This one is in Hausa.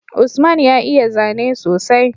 Usman ya iya zane sosai